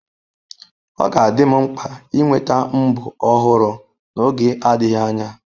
Ọ ga-adị m mkpa ịnweta mbo ọhụrụ n'oge adịghị anya.